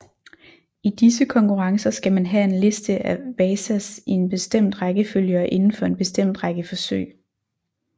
I disse konkurrencer skal man lave en liste af wazas i en bestemt rækkefølge og indenfor en bestemt række forsøg